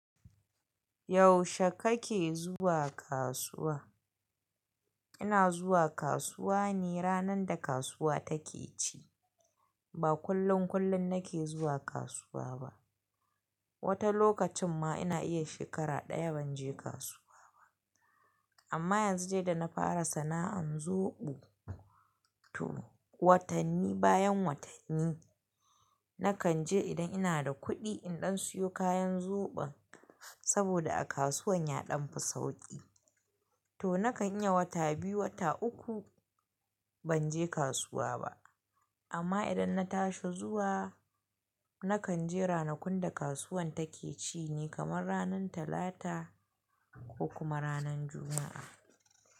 Yaushe kake zuwa kasuwa? Ina zuwa kasuwa ne ranar da kasuwa take ci. Ba kullun kullun nake zuwa kasuwa ba. Wata lokacin ma ina iya shekara ɗaya ban je kasuwa ba. Amma yanzu de na fara sana'an zoɓo, to watanni bayan watanni nakan je idan ina da kuɗi in ɗan siyo kayan zoɓon saboda a kasuwan ya ɗan fi sauƙi. To nakan iya wata biyu, wata uku ban je kasuwa ba. Amma idan na tashi zuwa, nakan je ranakun da kasuwan take ci ne kamar ranan talata ko kuma ranan juma'a.